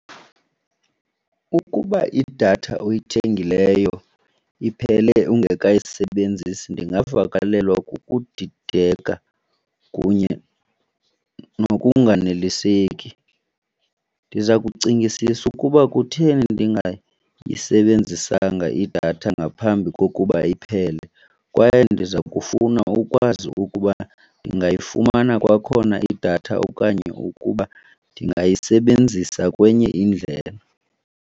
Ukuba idatha oyithengileyo iphele ungekayisebenzisi ndingavakalelwa kukudideka kunye nokunganeliseki. Ndiza kucingisisa ukuba kutheni ndingayisebenzisanga idatha ngaphambi kokuba iphele kwaye ndiza kufuna ukwazi ukuba ndingayifumana kwakhona idatha okanye ukuba ndingayisebenzisa kwenye indlela.